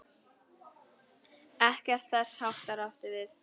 Ekkert þess háttar átti við.